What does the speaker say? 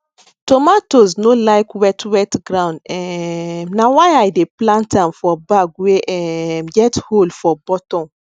tomatoes no like wet wet ground um na why i dey plant am for bag wey um get hole for bottom